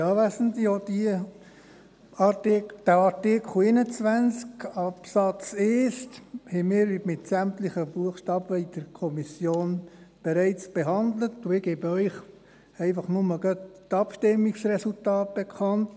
Auch diesen Artikel 21 Absatz 1 haben wir mit sämtlichen Buchstaben in der Kommission bereits behandelt, und ich gebe Ihnen einfach nur gerade die Abstimmungsresultate bekannt.